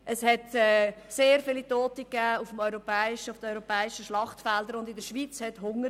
es gab sehr viele Tote auf den europäischen Schlachtfeldern, und in der Schweiz herrschte Hunger.